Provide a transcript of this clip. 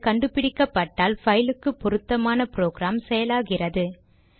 அது கண்டு பிடிக்கப்பட்டால் பைலுக்கு பொருத்தமான ப்ரொக்ராம் செயலாகிறது